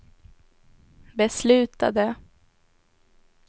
beslutade